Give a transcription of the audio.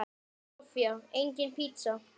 Soffía: Engin pizza.